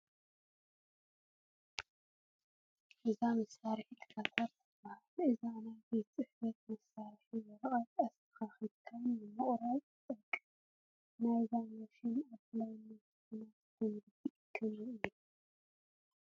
እዛ መሳርሒት ካተር ትበሃል፡፡ እዛ ናይ ቤት ፅሕፈት መሳርሒ ወረቐት ኣስተኻኺልካ ንምቑራፅ ትጠቅም፡፡ ናይዛ ማሽን ኣድላይነት ብናትኩም ርድኢት ከመይ እዩ?